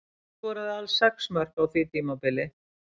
Hann skoraði alls sex mörk á því tímabili.